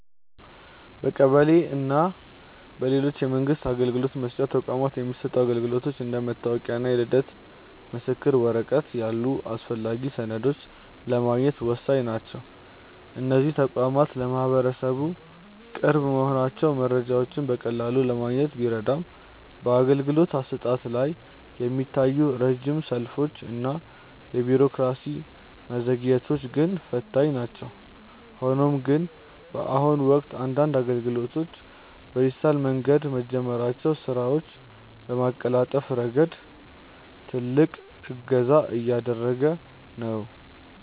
በቀበሌ እና በሌሎች የመንግስት አገልግሎት መስጫ ተቋማት የሚሰጡ አገልግሎቶች እንደ መታወቂያ እና የልደት ምስክር ወረቀት ያሉ አስፈላጊ ሰነዶችን ለማግኘት ወሳኝ ናቸው። እነዚህ ተቋማት ለማህበረሰቡ ቅርብ መሆናቸው መረጃዎችን በቀላሉ ለማግኘት ቢረዳም፣ በአገልግሎት አሰጣጡ ላይ የሚታዩት ረጅም ሰልፎች እና የቢሮክራሲ መዘግየቶች ግን ፈታኝ ናቸው። ሆኖም ግን፣ በአሁኑ ወቅት አንዳንድ አገልግሎቶች በዲጂታል መንገድ መጀመራቸው ስራዎችን በማቀላጠፍ ረገድ ትልቅ እገዛ እያደረገ ነው።